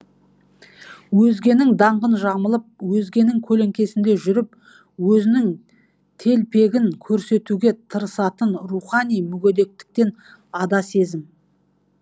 өзгенің даңқын жамылып өзгенің көлеңкесінде жүріп өзінің телпегін көрсетуге тырысатын рухани мүгедектіктен ада сезім